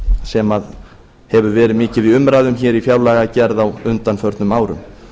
sem hefur verið mikið í umræðum hér í fjárlagagerð á undanförnum árum